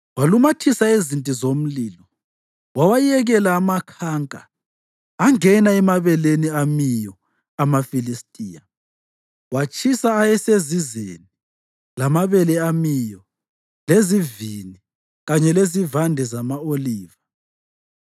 walumathisa izinti zomlilo wawayekela amakhanka angena emabeleni amiyo amaFilistiya. Watshisa ayesezizeni lamabele amiyo, lezivini kanye lezivande zama-oliva.